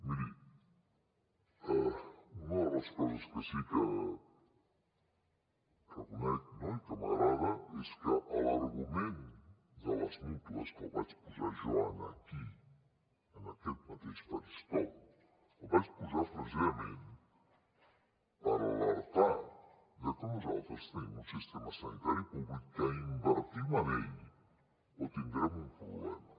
miri una de les coses que sí que reconec no i que m’agrada és que l’argument de les mútues que el vaig posar jo aquí en aquest mateix faristol el vaig posar precisament per alertar de que nosaltres tenim un sistema sanitari públic que o invertim en ell o tindrem un problema